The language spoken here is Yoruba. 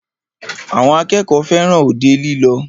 Àwọn akẹ́kọ̀ọ́ fẹràn òde lílọ.